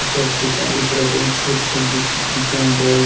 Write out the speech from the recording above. चर्च के चारो तरफ एगो छोट-छोट जो चिकपिंकिया बॉल --